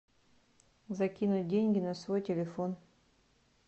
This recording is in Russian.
закинуть деньги на свой телефон